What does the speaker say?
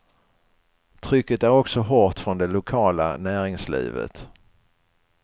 Trycket är också hårt från det lokala näringslivet.